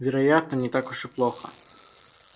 вероятно не так уж и плохо